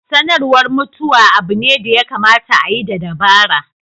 Sanarwa mutuwa abu ne da ya kamata a yi da dabara.